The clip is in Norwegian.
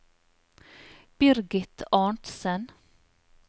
Birgit Arntsen